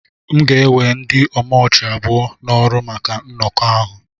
M ga-ewe ndị omochi abụọ n'ọrụ maka nnọkọ ahụ